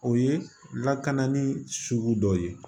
O ye lakanali sugu dɔw ye